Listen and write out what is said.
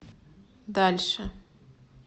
дальше